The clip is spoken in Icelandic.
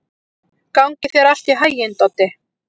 Gangi þér allt í haginn, Doddi.